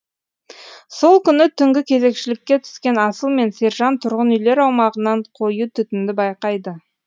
сол күні түнгі кезекшілікке түскен асыл мен сержан тұрғын үйлер аумағынан қою түтінді байқайды